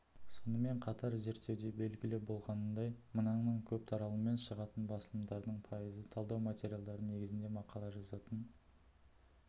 сонымен қатар зерттеуде белгілі болғанындай мыңнан көп таралыммен шығатын басылымдардың пайызы талдау материалдары негізінде мақала жазатын